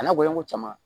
A n'a gɔɲɔn ko caman